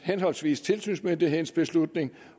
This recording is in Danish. henholdsvis tilsynsmyndighedens beslutning